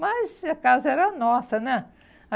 Mas a casa era nossa, né?